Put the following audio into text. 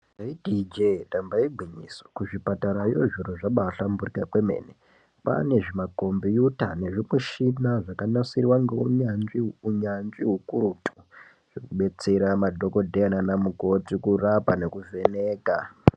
Ndaiti ijee damba igwinyiso kuzvipatarayo zviro zvabahlamburika kwemene pane zvimakombiyuta nezvimushina zvakanasiwa ngeunyanzvi unyanzvi hwekuretu zvinobetsera madhokodheya nanamukoti kurapa nekuvheneka.